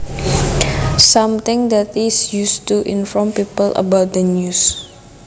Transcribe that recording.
Something that is used to inform people about the news